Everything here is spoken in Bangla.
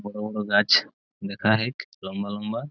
বড় বড় গাছ দেখা হেক লম্বা লম্বা।